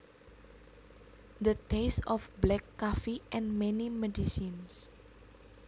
The taste of black coffee and many medicines